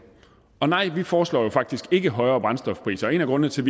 og nej vi foreslår jo faktisk ikke højere brændstofpriser og en af grundene til